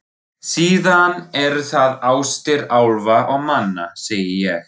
Síðan eru það ástir álfa og manna, segi ég.